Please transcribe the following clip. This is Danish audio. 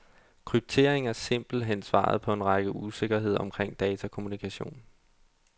Kryptering er simpelt hen svaret på en række usikkerheder omkring datakommunikation.